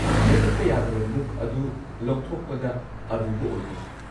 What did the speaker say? ꯃꯨꯠꯊꯠꯄ ꯌꯥꯗꯕ ꯃꯨꯛ ꯑꯗꯨ ꯂꯧꯊꯣꯛꯄꯗ ꯑꯔꯨꯕ ꯑꯣꯏꯗꯦ꯫